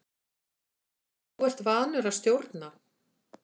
Þú ert vanur að stjórna.